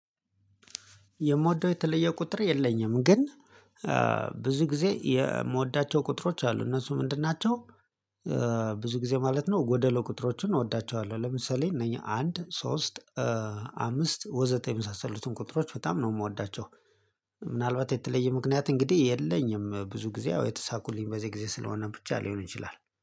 የምወደው የተለየ ቁጥር የለኝም ግን ብዙ ጊዜ የምወዳቸው ቁጥሮች አሉ እነሱ ምንድን ናቸው? ብዙ ጊዜ ማለት ነው ጎደሎ ቁጥሮቹን እወዳቸዋለሁ። ለምሳሌ እነኚህ አንድ ሶስት አምስት ወዘተ የመሳሰሉትን ቁጥሮች በጣም ነው የምወዳቸው። ምናልባት የተለየ ምክንያት እንግዲህ የለኝም ብዙ ጊዜ አዎ የተሳኩልኝ በዚህ ጊዜ ስለሆነም ብቻ ሊሆን ይችላል